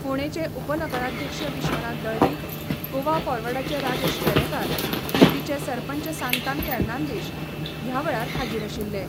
फोंडेंचे उपनगराध्यक्ष विश्वनाथ दळवी, गोवा फॉरवर्डाचे राजेश वेरेंकार, कुट्टीचे सरपंच सांतान फेर्नांदीश ह्या वेळार हाजीर आशिल्ले.